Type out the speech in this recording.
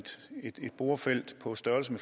på stående